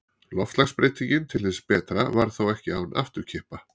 Loftslagsbreytingin til hins betra varð þó ekki án afturkippa.